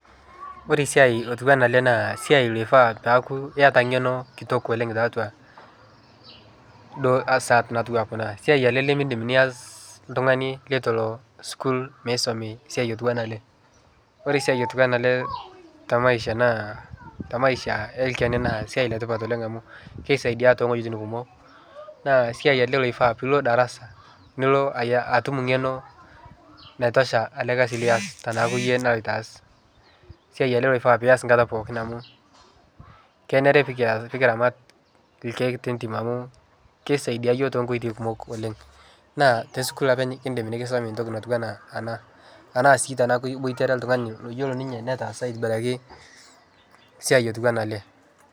Ore esiai otiu enaa ele naa esiai loifaa paaku iyata eng'eno kitok oleng' tiatua duo asa natiu enaa kuna, esiai ele lemiindim niyas oltung'ani litu elo sukuul misomi esiai otiu enaa ele. Ore esiai otiu ena ele te maisha naa te maisha oltung'ani naa esiai le tipat oleng' amu kisaidia too wueitin kumok naa esiai ele oifaa piilo darasa, nilo atum ng'eno naitosha ele kasi lias tenaaku iyie naloito aas. Esiai ele loifaa pias enkata pookin amu kenare pee kias pee kiramat irkeek lentim amu kisaidia iyiok too nkoitoi kumok oleng' naa te sukuul openy kiindim nekisomi entoki natiu enaa ena, anaa sii iboitare oltung'ani loyiolo ninye netaasa aitobiraki esiai lotiu enaa ele.